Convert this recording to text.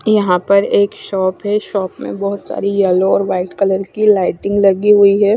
यहा पर एक शॉप है शॉप में बोहोत सारि येलो और वाइट कलर की लाइटिंग लगी हुई है।